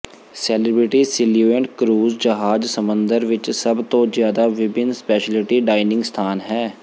celebrity Silhouette cruise ਜਹਾਜ਼ ਸਮੁੰਦਰ ਵਿੱਚ ਸਭ ਤੋਂ ਜਿਆਦਾ ਵਿਭਿੰਨ ਸਪੈਸ਼ਲਿਟੀ ਡਾਈਨਿੰਗ ਸਥਾਨ ਹੈ